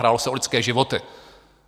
Hrálo se o lidské životy.